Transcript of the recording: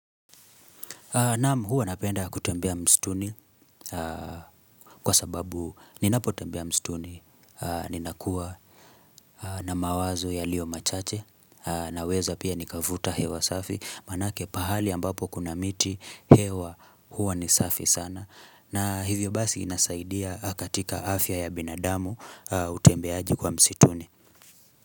Naam huwa napenda kutembea mistuni kwa sababu ninapotembea mistuni, ninakua na mawazo yalio machache naweza pia nikavuta hewa safi maanake pahali ambapo kuna miti hewa huwa ni safi sana na hivyo basi inasaidia katika afya ya binadamu utembeaji kwa mstuni.